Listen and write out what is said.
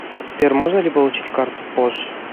сбер можно ли получить карту позже